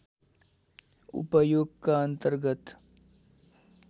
उपयोगका अन्तर्गत